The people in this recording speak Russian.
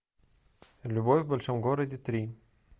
любовь в большом городе три